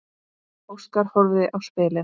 Óskar horfði á spilin.